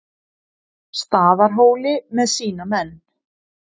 Staðarhóli með sína menn.